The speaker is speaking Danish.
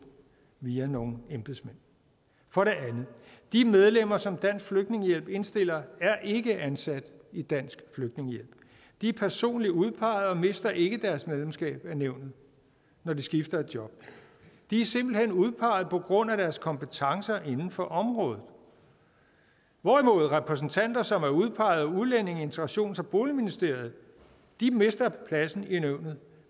via nogle embedsmænd for det andet de medlemmer som dansk flygtningehjælp indstiller er ikke ansat i dansk flygtningehjælp de er personligt udpeget og mister ikke deres medlemskab af nævnet når de skifter job de er simpelt hen udpeget på grund af deres kompetencer inden for området hvorimod repræsentanter som er udpeget af udlændinge integrations og boligministeriet mister pladsen i nævnet